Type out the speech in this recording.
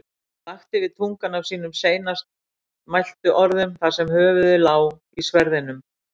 Og blakti við tungan af sínum seinast mæltu orðum þar sem höfuðið lá í sverðinum.